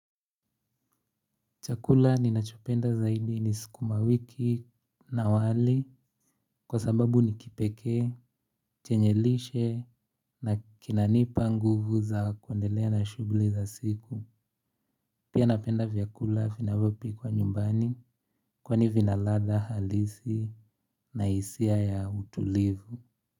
Chakula ninachopenda zaidi ni sukumawiki na wali kwa sababu ni kipekee, chenye lishe na kinanipa nguvu za kuendelea na shughuli za siku. Pia napenda vyakula vinavyopikwa nyumbani kwani vina ladha halisi na hisia ya utulivu.